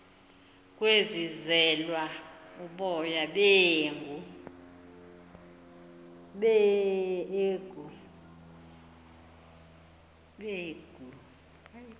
kwebizelwa uboya beegu